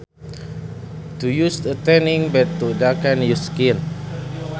To use a tanning bed to darken your skin